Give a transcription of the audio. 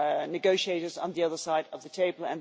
negotiators on the other side of the table.